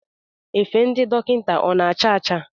Efe ndị dọkịta ọ na-acha ocha?